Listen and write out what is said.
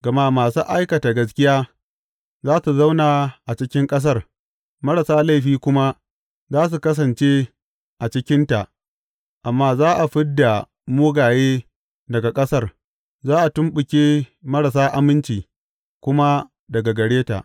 Gama masu aikata gaskiya za su zauna a cikin ƙasar, marasa laifi kuma za su kasance a cikinta; amma za a fid da mugaye daga ƙasar, za a tumɓuke marasa aminci kuma daga gare ta.